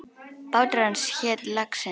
Bátur hans hét Laxinn.